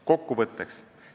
Kokkuvõtteks.